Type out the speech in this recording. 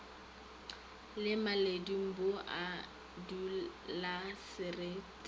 le maledung bo a dulasereti